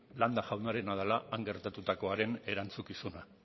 landa jaunarena dela han gertaturakoaren erantzukizuna